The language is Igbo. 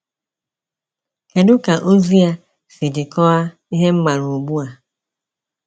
Kedu ka ozi a si jikọọ a ihe m maara ugbu a?